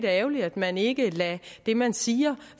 er ærgerligt at man ikke lader det man siger